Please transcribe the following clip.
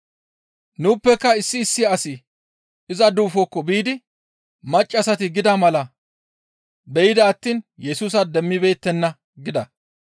Nuuppeka issi issi asati iza duufokko biidi maccassati gida mala be7ida attiin Yesusa demmibeettenna» gida.